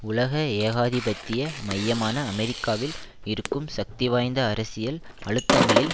உலக ஏகாதிபத்திய மையமான அமெரிக்காவில் இருக்கும் சக்திவாய்ந்த அரசியல் அழுத்தங்களில்